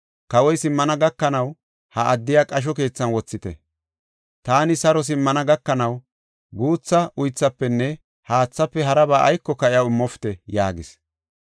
Kawoy simmana gakanaw ha addiya qasho keethan wothite. Taani saro simmana gakanaw, guutha uythafenne haathaafe haraba aykoka iyaw immopite” yaagis.